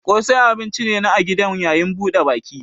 Ƙosai abun ci ne na a gidan yayin buɗe baki.